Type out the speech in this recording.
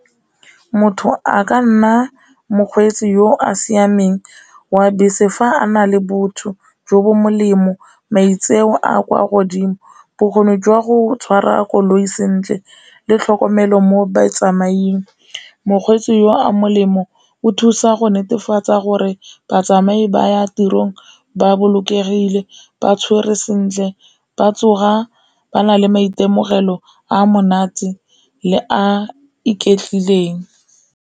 Motho a ka nna mokgweetsi yo a siameng wa bese fa a na le botho jo bo molemo, maitseo a kwa godimo, bokgoni jwa go tshwara koloi sentle, le tlhokomelo mo botsamaisng, mokgweetsi yo a molemo o thusa go netefatsa gore batsamai ba ya tirong ba bolokegile, ba tshwere sentle, ba tsoga ba na le maitemogelo a monate le a iketlile teng.